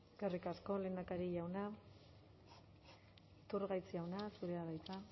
eskerrik asko lehendakari jauna iturgaiz jauna zurea da hitza